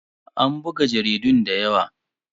An buga jaridun da yawa.